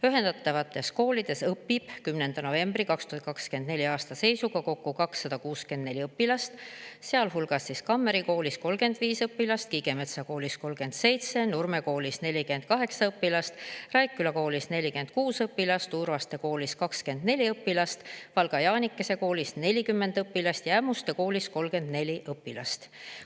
Ühendatavates koolides õpib 10. novembri 2024. aasta seisuga kokku 264 õpilast, sealhulgas Kammeri Koolis 35 õpilast, Kiigemetsa Koolis 37 õpilast, Nurme Koolis 48 õpilast, Raikküla Koolis 46 õpilast, Urvaste Koolis 24 õpilast, Valga Jaanikese Koolis 40 õpilast ja Ämmuste Koolis 34 õpilast.